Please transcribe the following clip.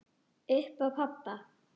Upp á pabba.